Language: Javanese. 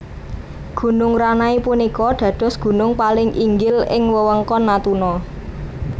Gunung Ranai punika dados gunung paling inggil ing wewengkon Natuna